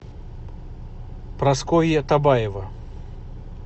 прасковья табаева